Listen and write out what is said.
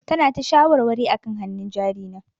Tana ta shawarwari akan hannun jari na.